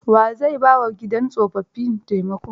Wa zai ba wa gidan tsofaffi taimako?